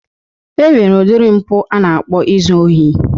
E nwere udiri mpụ a na-akpọ izu ori.